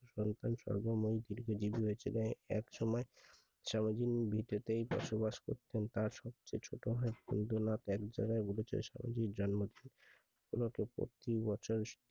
এক সময় সারাদিন ভিটেতেই বসবাস করতো তার সবচেয়ে ছোট ভাই হিন্দু নাথ এক জায়গায় কোনো প্রতিবছর